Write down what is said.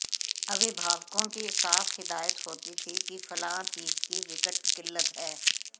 अभिभावकों की साफ हिदायत होती थी कि फलां चीज की विकट किल्लत है